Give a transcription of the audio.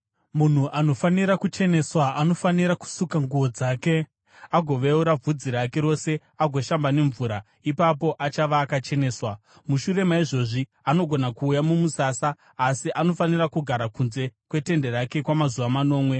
“Munhu anofanira kucheneswa anofanira kusuka nguo dzake agoveura bvudzi rake rose agoshamba nemvura, ipapo achava akacheneswa. Mushure maizvozvi anogona kuuya mumusasa asi anofanira kugara kunze kwetende rake kwamazuva manomwe.